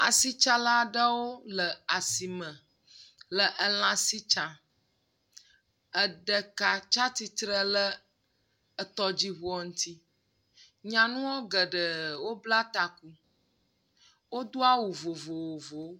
Asitsalawo le asime le elã si tsam. Eɖeka tsia tsitre le etɔdziŋua ŋuti. Nyanua geɖewo bla taku. Wodo awu vovovowo.